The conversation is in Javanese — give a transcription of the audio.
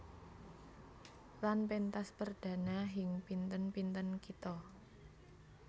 Lan péntas perdhana hing pinten pinten kitha